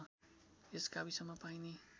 यस गाविसमा पाइने